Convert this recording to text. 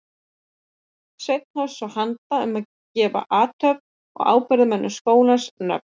Sveinn hófst svo handa um að gefa athöfnum og ábyrgðarmönnum skólans nöfn.